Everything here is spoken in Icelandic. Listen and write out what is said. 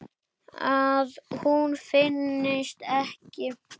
Að hún finnist ekki.